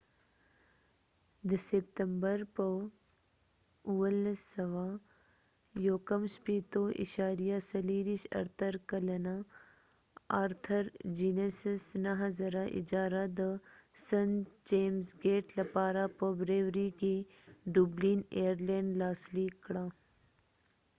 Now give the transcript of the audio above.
د سپتمبر په 24. 1759 ارتر ګینیسarthur guinness 9000 کلنه اجاره د سنت چېمز ګیټ بریوریst.james brewerey لپاره په ډبلن ایر لینیډ dublin airland کې لاسلیک کړه